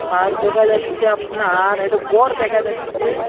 আর দেখা যাচ্ছে আপনার একটা গর দেখা যাচ্ছে।